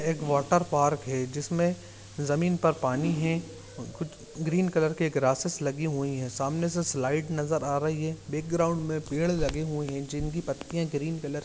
एक water park है जिसमें जमीन पर पानी हे कुछ ग्रीन कलर की ग्रासेस लगी हुई हैं सामने से स्लाइट नजर आ रही है बैकग्राउंड में पेड़ लगे हुए है जिनकी पत्तियां ग्रीन कलर --